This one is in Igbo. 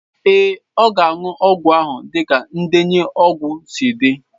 Ee, ọ ga-aṅụ ọgwụ ahụ dịka ndenye ọgwụ si dị.